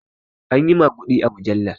Anyi maguɗi a mujallar